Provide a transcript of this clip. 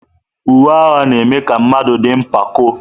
Uwe agha na-eme ka mmadụ dị mpako.